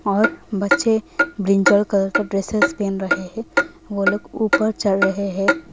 और बच्चे brinjal colour का ड्रेसेस पेन रहे हैं वो लोग ऊपर चढ़ रहे हैं।